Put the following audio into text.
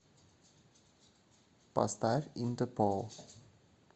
поставь интерпол